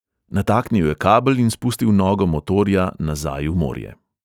Nataknil je kabel in spustil nogo motorja nazaj v morje.